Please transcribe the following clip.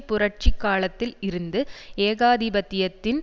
புரட்சி காலத்தில் இருந்து ஏகாதிபத்தியத்தின்